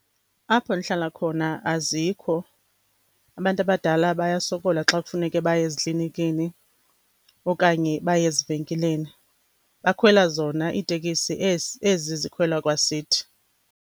Apho ndihlala khona azikho, abantu abadala bayasokola xa kufuneke baye eziklinikini okanye baye ezivenkileni. Bakhwela zona iitekisi ezi, ezi zikhwelwa kwasithi.